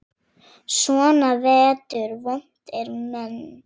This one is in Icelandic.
Svona vetur vont er mein.